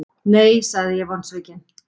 Nei, sagði ég vonsvikinn.